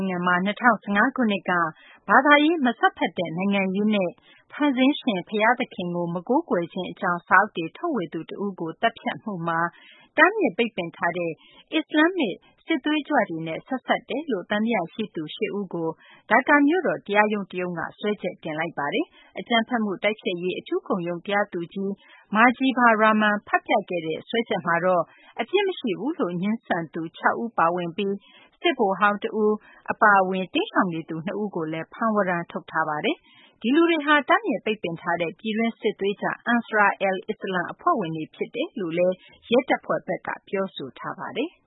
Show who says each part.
Speaker 1: င်ငံမှာ ၂၀၁၅ ခုနှစ်က ဘာသာရေး မစွက်ဖက်တဲ့ နိုင်ငံရေးနဲ့ ဖန်ဆင်းရှင် ဘုရားသခင်ကို မကိုးကွယ်ခြင်းအကြောင်း စာအုပ်တွေ ထုတ်ဝေသူတဦးကို သတ်ဖြတ်မှုမှာ တားမြစ်ပိတ်ပင်ထားတဲ့ အစ္စလာမ္မစ် စစ်သွေးကြွတွေနဲ့ ဆက်စပ်နေတယ်လို့ သံသယရှိသူ ၈ ဦးကို ဒါကာမြို့တော် တရားရုံးတရုံးက စွဲချက်တင်လိုက်ပါတယ်။ အကြမ်းဖက်မှုတိုက်ဖျက်ရေး အထူးခုံရုံး တရားသူကြီး Majibur Rahman ဖတ်ပြခဲ့တဲ့ စွဲချက်မှာတော့ အပြစ်မရှိဘူးလို့ ငြင်းဆန်သူ ၆ ဦး ပါဝင်ပြီး စစ်ဗိုလ်ဟောင်းတဦး အပါအဝင် တိမ်းရှောင်နေသူ ၂ ဦးကိုလည်း ဖမ်းဝရမ်း ထုတ်ထားပါတယ်။ ဒီလူတွေဟာ တားမြစ်ပိတ်ပင်ထားတဲ့ ပြည်တွင်း စစ်သွေးကြွ Ansar al Islam အဖွဲ့ဝင်တွေ ဖြစ်တယ်လို့ ရဲတပ်ဖွဲ
Speaker 2: ့ဘက်က ပြောဆိုထားပါတယ်။